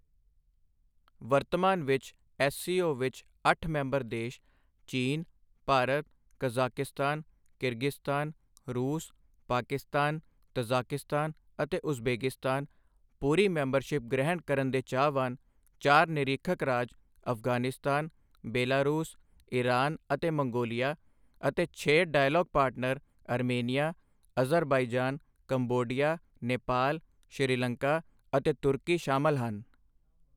ਵਰਤਮਾਨ ਵਿੱਚ ਐੱਸਸੀਓ ਵਿੱਚ ਅੱਠ ਮੈਂਬਰ ਦੇਸ਼ ਚੀਨ, ਭਾਰਤ, ਕਜ਼ਾਕਿਸਤਾਨ, ਕਿਰਗਿਜ਼ਸਤਾਨ, ਰੂਸ, ਪਾਕਿਸਤਾਨ, ਤਜ਼ਾਕਿਸਤਾਨ, ਅਤੇ ਉਜ਼ਬੇਕਿਸਤਾਨ, ਪੂਰੀ ਮੈਂਬਰਸ਼ਿਪ ਗ੍ਰਹਿਣ ਕਰਨ ਦੇ ਚਾਹਵਾਨ ਚਾਰ ਨਿਰੀਖਕ ਰਾਜ ਅਫ਼ਗ਼ਾਨਿਸਤਾਨ, ਬੇਲਾਰੂਸ, ਈਰਾਨ ਅਤੇ ਮੰਗੋਲੀਆ ਅਤੇ ਛੇ dialogue partner Armenia, Azerbaijan, Cambodia, Nepal, Sri Lanka ਅਤੇ ਤੁਰਕੀ ਸ਼ਾਮਲ ਹਨ।